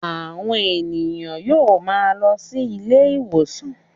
Àwọn èèyàn yóò máa lọ sí ilé-ìwòsàn